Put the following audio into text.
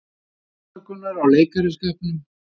Biðst afsökunar á leikaraskap